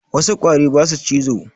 Wassu ƙwari basu cizo